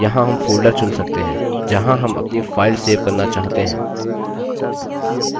यहाँ हम folder चुन सकते हैं जहाँ हम अपनी file सेव करना चाहते हैं